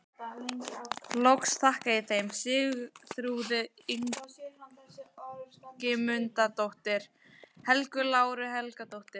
Loks þakka ég þeim Sigþrúði Ingimundardóttur, Helgu Láru Helgadóttur